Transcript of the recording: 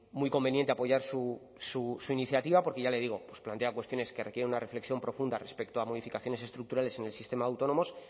muy conveniente apoyar su iniciativa porque ya le digo pues plantea cuestiones que requieren una reflexión profunda respecto a modificaciones estructurales en el sistema de autónomos